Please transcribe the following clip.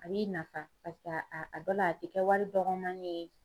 A b'i nafa paseke a a dɔ la a ti kɛ wari dɔgɔmanin ye.